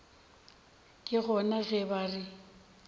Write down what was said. ke gona ge ba re